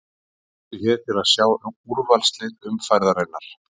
Smelltu hér til að sjá úrvalslið umferðarinnar